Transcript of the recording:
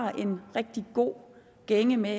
er i en rigtig god gænge med